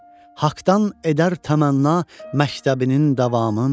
Haqdan edər təmənna məktəbinin davamın.